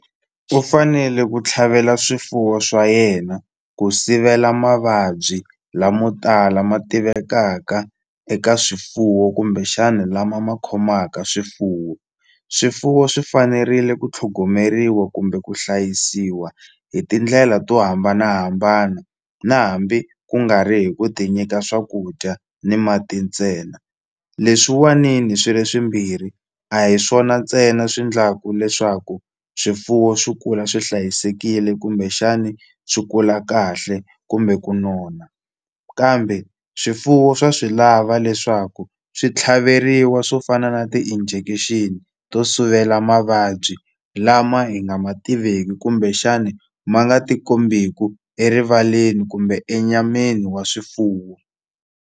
U fanele ku tlhavela swifuwo swa yena ku sivela mavabyi lamo tala ma tivekaka eka swifuwo kumbexana lama ma khomaka swifuwo swifuwo swi fanerile ku tlhogomeriwa kumbe ku hlayisiwa hi tindlela to hambanahambana na hambi ku nga ri hi ku ti nyika swakudya ni mati ntsena leswiwani ni swi ri swimbirhi a hi swona ntsena swi endlaku leswaku swifuwo swi kula swi hlayisekile kumbexani swi kula kahle kumbe ku nona kambe swifuwo swa swi lava leswaku swi tlhaveriwa swo fana na ti-injection to sivela mavabyi lama hi nga ma tiveki kumbexani ma nga ti kombeku erivaleni kumbe enyameni wa swifuwo.